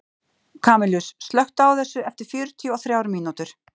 Kamilus, slökktu á þessu eftir fjörutíu og þrjár mínútur.